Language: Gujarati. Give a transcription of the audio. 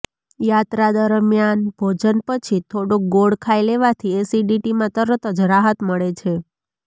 યાત્રા દરમિયાન ભોજન પછી થોડોક ગોળ ખાઈ લેવાથી એસિડિટીમાં તરત જ રાહત મળે છે